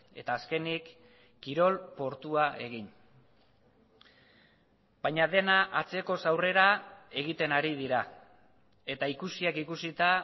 eta azkenik kirol portua egin baina dena atzekoz aurrera egiten ari dira eta ikusiak ikusita